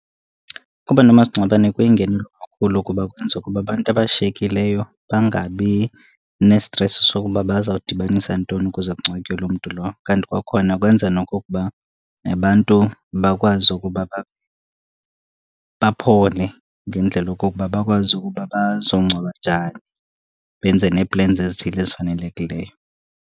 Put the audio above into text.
Ukuba nomasingcwabane kuyingenelo kakhulu kuba kwenza ukuba abantu abashiyekileyo bangabi nestresi sokuba bazawudibanisa ntoni ukuze kungcwatywe loo mntu lowo. Kanti kwakhona kwenza nokokuba abantu bakwazi ukuba baphole ngendlela okokuba bakwazi ukuba bazongcwaba njani, benze nee-plans ezithile ezifanelekileyo.